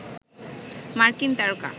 মার্কিন তারকা